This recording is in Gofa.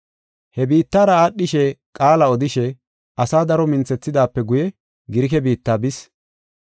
He biittara aadhishe qaala odishe asaa daro minthethidaape guye Girike biitta bis.